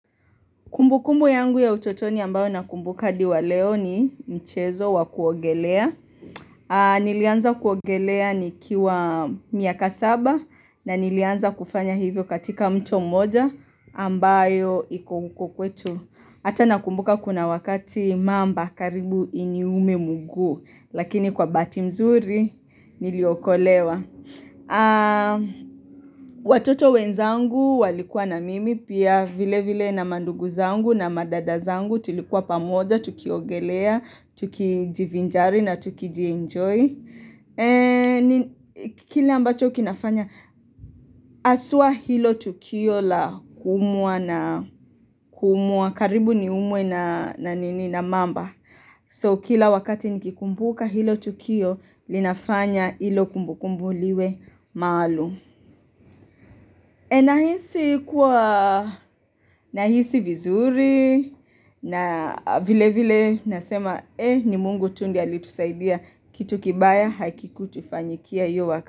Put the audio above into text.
Kumbu kumbu yangu ya utotoni ambayo nakumbuka hadi wa leo ni mchezo wa kuogelea. Nilianza kuogelea nikiwa miaka saba na nilianza kufanya hivyo katika mto mmoja ambayo iku uko kwetu. Ata nakumbuka kuna wakati mamba karibu ini ume mguu lakini kwa bahati mzuri niliokolewa. Watoto wenzangu walikuwa na mimi Pia vile vile na mandugu zangu na madada zangu Tulikuwa pamoja, tukiogelea, tukijivinjari na tukijienjoy kili ambacho kinafanya haswa hilo tukio la kuumua na kuumua karibu ni umwe na nini na mamba So kila wakati nikikumbuka hilo tukio linafanya hilo kumbu kumbu liwe maalum nahisi kuwa nahisi vizuri na vile vile nasema ni mungu tu ndiye aliitusaidia kitu kibaya haki kutufanyikia hiyo waka.